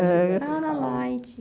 Ah, na Light.